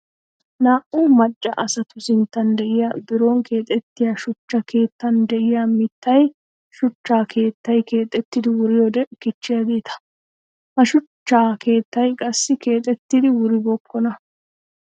Naa'u maca asattu sinttan de'iya biron keexettiya shuchcha keettan de'iya mittay shuchcha keettay keexettiddi wuriyoode kichiyaagetta. Ha shuchcha keettay qassi keexettiddi wuribookonna.